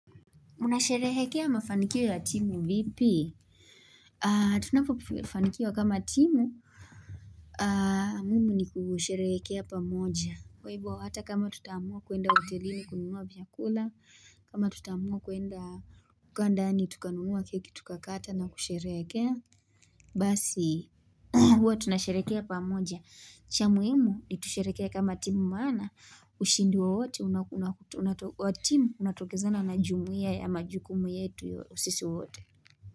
Unasherehekea mafanikio ya timu vipi? Tunapofanikiwa kama timu. Mimi ni kusherehekea pamoja. Kwa hivo hata kama tutaamua kuenda hotelini kununua vyakula. Ama tutaamua kuenda kukaa ndani tukanunuwa keki tukakata na kusherehekea. Basi huwa tunasherekea pamoja. Cha muhimu nitusherekee kama timu maana ushindi wowote wa timu unatokezana na jumuia ya majukumu yetu sisi wote.